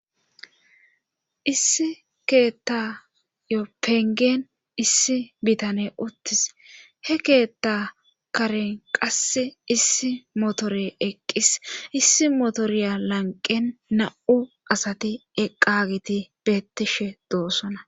issi keetta yo pengen issi bitane uttis he keetta karen qasse issi motore eqqis issi motoriya lanqen na7u asati eqqagiti bettishe doossona